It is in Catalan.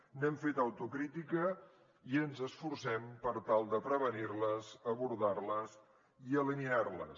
n’hem fet autocrítica i ens esforcem per tal de prevenir les abordar les i eliminar les